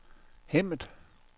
Hemmet